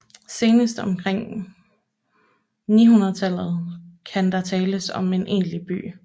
Senest omkring år 900 kan der tales om en egentlig by